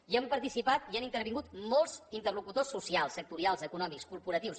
hi han participat hi han intervingut molts interlocutors socials sectorials econòmics corporatius